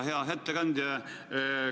Hea ettekandja!